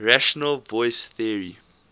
rational choice theory